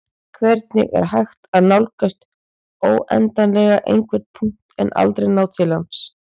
hvernig er hægt að nálgast óendanlega einhvern punkt en ná aldrei til hans